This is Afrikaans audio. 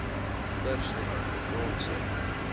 vir suid afrikaanse